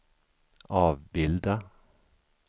avbilda